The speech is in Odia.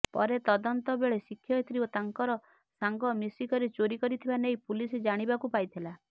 ପରେ ତଦନ୍ତ ବେଳେ ଶିକ୍ଷୟତ୍ରୀ ଓ ତାଙ୍କର ସାଙ୍ଗ ମିଶିକରି ଚୋରି କରିଥିବା ନେଇ ପୁଲିସ ଜାଣିବାକୁ ପାଇଥିଲା